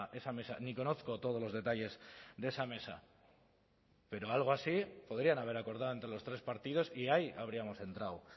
esa mesa ni conozco todos los detalles de esa mesa pero algo así podrían haber acordado entre los tres partidos y ahí habríamos entrado